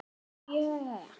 Mikið sem það gladdi mig.